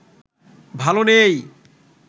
ভালো নেই